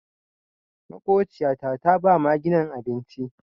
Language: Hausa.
Makociyata ta ba maginan abinci.